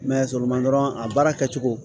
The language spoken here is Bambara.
dɔrɔn a baara kɛcogo